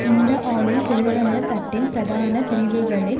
இந்த ஆளும் செல்வந்த தட்டின் பிரதான பிரிவுகளின்